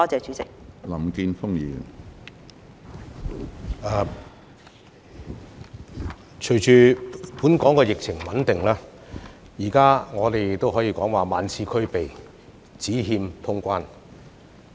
隨着本港的疫情穩定下來，現在我們可以說"萬事俱備，只欠通關"。